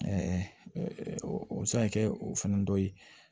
o bɛ se ka kɛ o fɛn dɔ ye